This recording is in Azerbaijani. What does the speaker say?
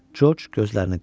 Corc gözlərini qıyırdı.